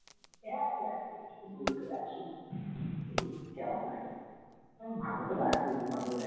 হ্যাঁ যাই একটু ঘুরেটুরে আসি একটু কেমন লাগে ভালোতে লাগবেই না হলে